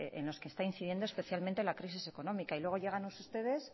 en los que está incidiendo especialmente la crisis económica y luego llegan ustedes